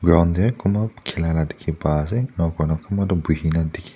ground tae kunba khilala dikhipa ase enakurna kunba buhina dikhi--